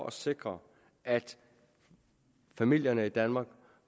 at sikre at familierne i danmark